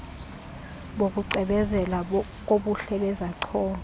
bokucwebezela kobuhle bezacholo